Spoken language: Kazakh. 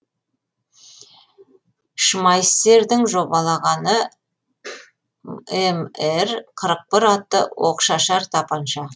шмайссердің жобалағаны мр қырық бір атты оқшашар тапанша